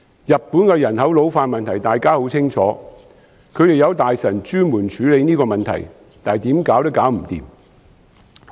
日本的人口老化問題大家很清楚，他們有大臣專門處理這個問題，但怎樣也解決不來。